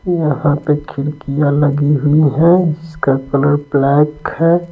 यहाँ पे खिड़कियाँ लगी हुई हैं जिसका कलर ब्लैक है।